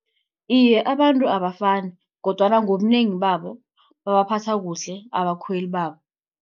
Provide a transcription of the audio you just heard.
Iye abantu abafani, kodwana ngobunengi babo, babaphatha kuhle abakhweli babo.